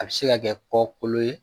A bɛ se ka kɛ kɔkolo ye